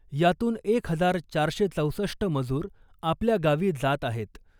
यातून एक हजार चारशे चौसष्ट मजूर आपल्या गावी जात आहेत .